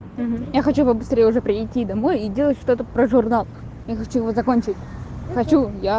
я хочу побыстрее уже прийти домой и делать что-то про журнал я хочу его закончить хочу